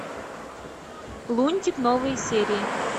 лунтик новые серии